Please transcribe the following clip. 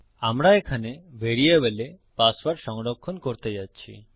আমরা এখানে ভ্যারিয়েবলে পাসওয়ার্ড সংরক্ষণ করতে যাচ্ছি